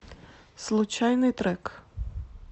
случайный трек